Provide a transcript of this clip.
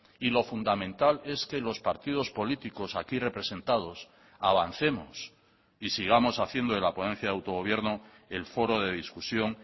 y lo fundamental es que los partidos políticos aquí representados avancemos y sigamos haciendo de la ponencia de autogobierno el foro de discusión